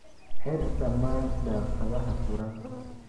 Xir dhammaan daaqadaha furan.